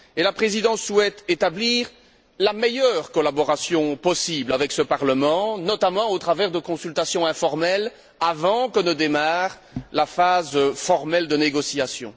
Et la Présidence souhaite établir la meilleure collaboration possible avec ce Parlement, notamment au travers de consultations informelles, avant que ne démarre la phase formelle de négociation.